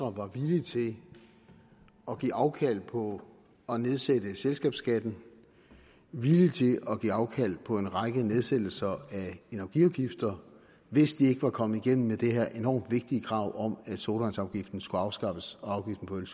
var villig til at give afkald på at nedsætte selskabsskatten villig til at give afkald på en række nedsættelser af energiafgifter hvis de ikke var kommet igennem med det her enormt vigtige krav om at sodavandsafgiften skulle afskaffes og afgiften på øl